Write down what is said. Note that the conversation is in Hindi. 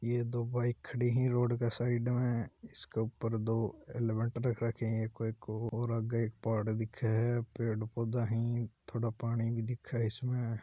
ये दो बाइक खड़ी है रोड का साइड में इसके ऊपर दो हेलमेट रख रखें हैं कोई और आगे एक पहाड़ दिखे है पेड़ पौधा है थोड़ा पानी भी दिखे इसमें।